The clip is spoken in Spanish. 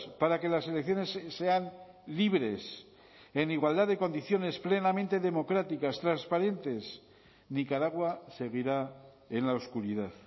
para que las elecciones sean libres en igualdad de condiciones plenamente democráticas transparentes nicaragua seguirá en la oscuridad